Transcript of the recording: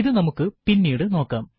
ഇത് നമുക്ക് പിന്നീട് നോക്കാം